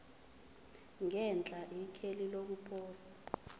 ngenhla ikheli lokuposa